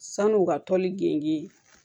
San'u ka toli genge